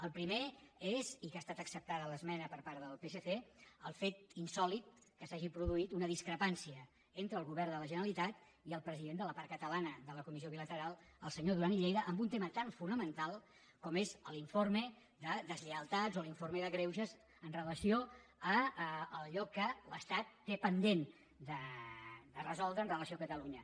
el primer és i que ha estat acceptada l’esmena per part del psc el fet insòlit que s’hagi produït una discrepància entre el govern de la generalitat i el president de la part catalana de la comissió bilateral el senyor duran i lleida en un tema tan fonamental com és l’informe de deslleialtats o l’informe de greuges amb relació a allò que l’estat té pendent de resoldre amb relació a catalunya